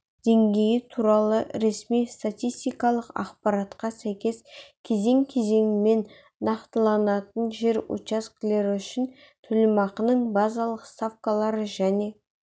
деңгейі туралы ресми статистикалық ақпаратқа сәйкес кезең-кезеңімен нақтыланатын жер учаскелері үшін төлемақының базалық ставкалары және